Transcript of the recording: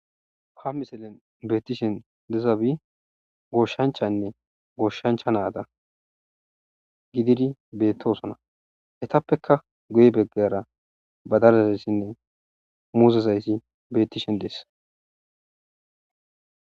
ha misilen beettishen dezaabi gooshshanchanne gooshshancha naada gididi beettosona hetappeka guye beggera badarazayssinne muuzezayssi beettishen dees